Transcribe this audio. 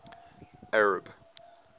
arab